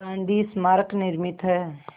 गांधी स्मारक निर्मित है